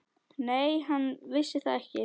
Nei, hann vissi það ekki.